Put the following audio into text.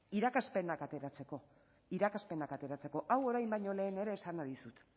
irakaspenak ateratzeko irakaspenak ateratzeko hau orain baino lehen ere esana dizut